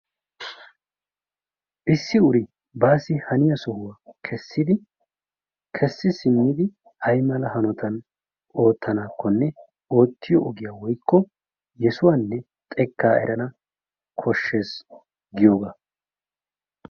Issi uri baassi haniya sohuwa kessidi, kessi simmidi aymala hanotan ootanaakkonne oottiyo ogiya woykko yesuwanne xekkaa erana koshshees giyogaa.